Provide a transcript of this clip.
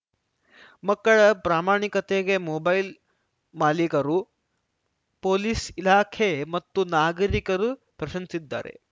ಮಕ್ಕಳ ಪ್ರಾಮಾಣಿಕತೆಗೆ ಮೊಬೈಲ್‌ ಮಾಲೀಕರು ಪೊಲೀಸ್‌ ಇಲಾಖೆ ಮತ್ತು ನಾಗರಿಕರು ಪ್ರಶಂಸಿದ್ದಾರೆ